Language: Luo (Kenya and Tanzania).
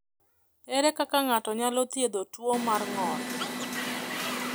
Ere kaka ng’ato nyalo thiedho tuwo mar ng’ol?